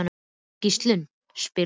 Gíslunn, spilaðu lag.